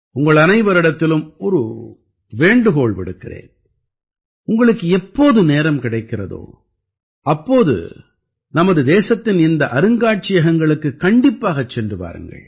உங்கள் அனைவரிடத்திலும் ஒரு வேண்டுகோள் விடுக்கிறேன் உங்களுக்கு எப்போது நேரம் கிடைக்கிறதோ அப்போது நமது தேசத்தின் இந்த அருங்காட்சியகங்களுக்குக் கண்டிப்பாகச் சென்று வாருங்கள்